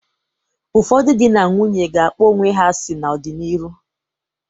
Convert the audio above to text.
Ụfọdụ dị na nwunye ga-akpọ onwe ha asị n'ọ dị n'ịrụ.